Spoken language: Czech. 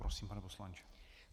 Prosím, pane poslanče.